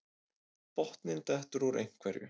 Botninn dettur úr einhverju